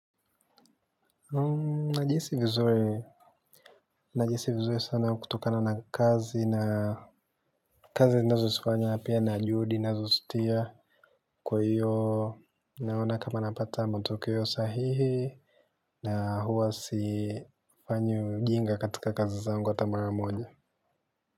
Najihisi vizuri sana kutokana na kazi na kazi nazo sifanya na pia na juudi nazo sitia. Kwa hiyo naona kama napata matokeo sahihi na huwa si fanyi ujinga katika kazi zangu ata mara moja.